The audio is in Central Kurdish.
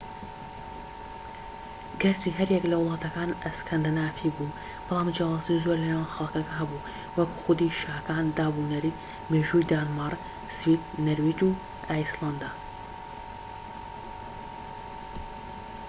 گەرچی هەر یەک لە وڵاتەککان 'ئەسکەندەنافی' بوو ، بەڵام جیاوازی زۆر لە نێوان خەڵکەکە هەبوو وەک خودی شاکان، داب و نەریت، مێژووی دانمارک، سوید، نەرویج و ئایسلەندا